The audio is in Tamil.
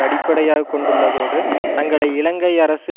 அடிப்படையாக கொண்டுள்ளதோடு தங்களை இலங்கை அரசு